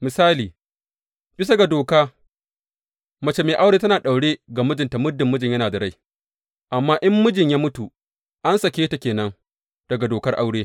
Misali, bisa ga doka mace mai aure tana daure ga mijinta muddin mijin yana da rai, amma in mijinta ya mutu, an sake ta ke nan daga dokar aure.